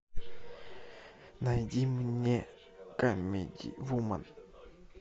найди мне камеди вумен